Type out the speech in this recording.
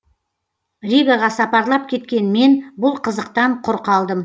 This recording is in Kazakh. ригаға сапарлап кеткен мен бұл қызықтан құр қалдым